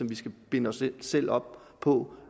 vi skal binde os selv op på